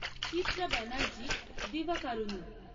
Chitra Banerjee Divakaruni